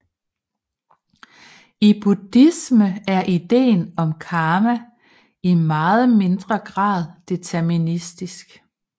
I buddhisme er ideen om karma i meget mindre grad deterministisk